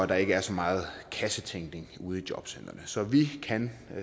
der ikke er så meget kassetænkning ude i jobcentrene så vi kan